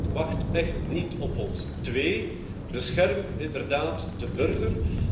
De wereld wacht echt niet op ons. Twee, bescherm inderdaad de burger.